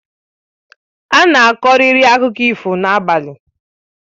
Ana akọkari akụkọ ifo n'abalị